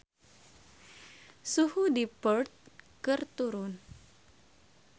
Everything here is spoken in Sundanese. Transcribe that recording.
Suhu di Perth keur turun